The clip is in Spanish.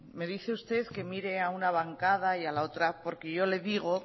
me dice usted que mire a una bancada y a la otra porque yo le digo